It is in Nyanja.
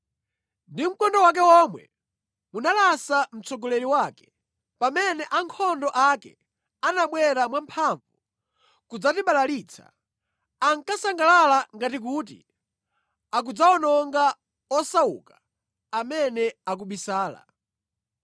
Ndi mkondo wake womwe munalasa mtsogoleri wake pamene ankhondo ake anabwera mwamphamvu kudzatibalalitsa, ankasangalala ngati kuti akudzawononga osauka amene akubisala.